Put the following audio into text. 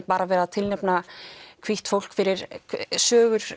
bara verið að tilnefna hvítt fólk fyrir sögur